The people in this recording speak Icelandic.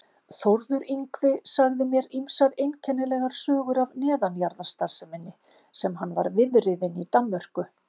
Þórður Yngvi sagði mér ýmsar einkennilegar sögur af neðanjarðarstarfseminni sem hann var viðriðinn í Danmörku.